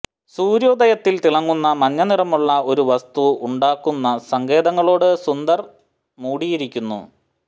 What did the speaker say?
സൂര്യോദയത്തിൽ തിളങ്ങുന്ന മഞ്ഞനിറമുള്ള ഒരു വസ്തു ഉണ്ടാക്കുന്ന സങ്കേതങ്ങളോട് സുന്ദർ മൂടിയിരിക്കുന്നു